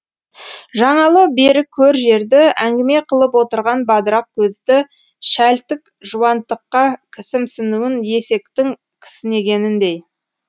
жаңалы бері көр жерді әңгіме қылып отырған бадырақ көзді шәлтік жуантыққа кісімсінуін есектің кісінегеніндей